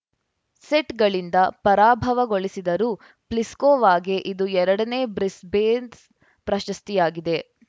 ಸೆಟ್‌ಗಳಿಂದ ಪರಾಭವಗೊಳಿಸಿದರು ಪ್ಲಿಸ್ಕೋವಾಗೆ ಇದು ಎರಡನೇ ಬ್ರಿಸ್ಬೇನ್ಸ್ ಪ್ರಶಸ್ತಿಯಾಗಿದೆ